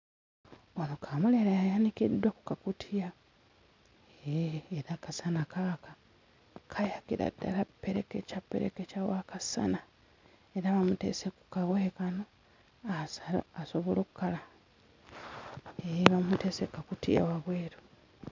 Wano kaamulali ayanikiddwa ku kakutiya eeh era akasana kaaka. Kayakira ddala ppereketya ppereketya w'akasana. Era bamuteese ku kawaya kano asobole okukala eeh bamuteese ku kakutiya wabweru.